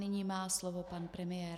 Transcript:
Nyní má slovo pan premiér.